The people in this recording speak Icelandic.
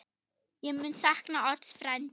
Ég mun sakna Odds frænda.